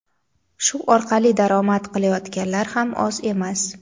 Shu orqali daromad qilayotganlar ham oz emas.